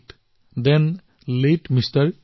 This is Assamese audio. লাতে থান লাতে এমআৰ